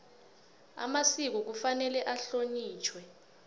amasiko kufanele ahlonitjhwe